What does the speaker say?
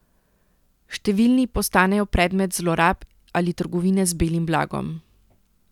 Številni postanejo predmet zlorab ali trgovine z belim blagom.